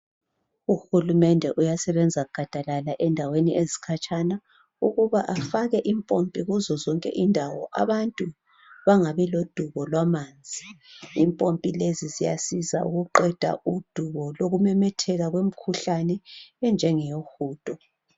Uhulumende uyasebenza gadalala endaweni ezikhatshana ukuba afake impompi kuzo zonke indawo abantu bangabi lodubo lwamanzi. Impompi lezi ziyasiza ukuqeda udubo lokumemetheka kwemikhuhlane enjengeyohudo.